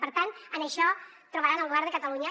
per tant en això trobaran el govern de catalunya